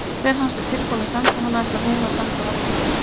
Þegar hann sé búinn að senda hana ætli hún að senda honum mynd af sér.